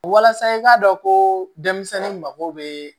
Walasa i k'a dɔn ko denmisɛnnin mako bɛ